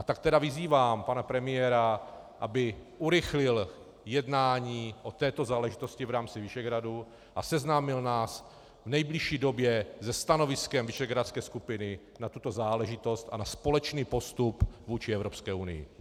A tak tedy vyzývám pana premiéra, aby urychlil jednání o této záležitosti v rámci Visegrádu a seznámil nás v nejbližší době se stanoviskem visegrádské skupiny na tuto záležitost a na společný postup vůči Evropské unii.